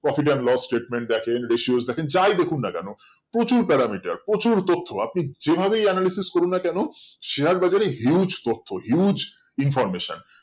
profit and loss statement দেখেন recouse দেখেন যাই দেখুক মা কেন প্রচুর পারমিটের প্রচুর তথ্য আপনি যে ভাবেই analycis করুন না কেন share বাজার এ huge তথ্য huge information